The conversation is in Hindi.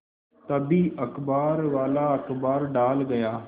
तभी अखबारवाला अखबार डाल गया